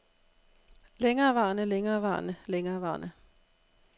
længerevarende længerevarende længerevarende